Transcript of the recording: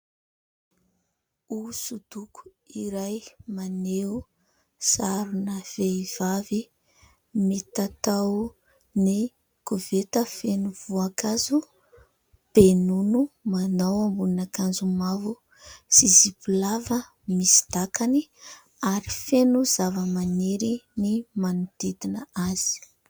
Hosodoko iray, maneho sarina vehivavy mitatao ny koveta feno voankazo, be nono. Manao ambonin'ankanjo mavo sy zipo lava misy dakany ary feno zavamaniry ny manodidina azy.